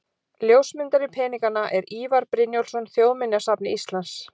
Ljósmyndari peninganna er Ívar Brynjólfsson, Þjóðminjasafni Íslands.